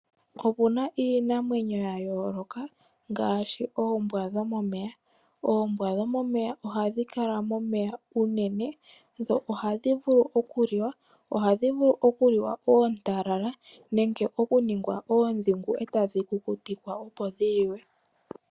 Okuna iinamwenyo ya yooloka ngaaashi oombwa dhomomeya . Oombwa dhomomeya ohadhi kala momeya unene dho ohadhi vulu okuliwa. Ohadhi vulu okuliwa oontalala nenge tadhi kukutikwa opo dhiliwe.